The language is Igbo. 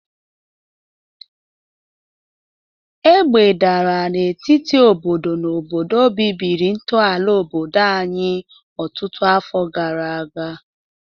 Agha dara n'etiti obodo na obodo bibiri ntọala obodo anyị ọtụtụ afọ gara aga.